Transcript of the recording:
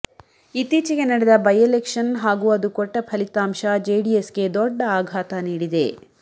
ಇತ್ತೀಚಿಗೆ ನಡೆದ by election ಹಾಗೂ ಅದು ಕೊಟ್ಟ ಫಲಿತಾಂಶ ಜೆಡಿಎಸ್ಗೆ ದೊಡ್ಡ ಆಘಾತ ನೀಡಿದೆ